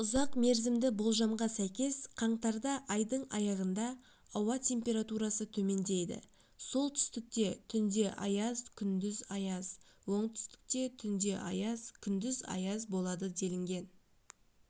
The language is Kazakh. ұзақмерзімді болжамға сәйкес қаңтарда айдың аяғында ауа температурасы төмендейді солтүстікте түнде аяз күндіз аяз оңтүстікте түнде аяз күндіз аяз болады делінген